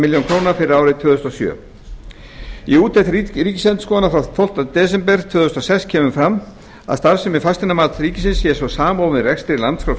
milljónir króna fyrir árið tvö þúsund og sjö í úttekt ríkisendurskoðunar frá tólftu desember tvö þúsund og sex kemur fram að starfsemi fasteignamats ríkisins sé svo samofin rekstri landskrár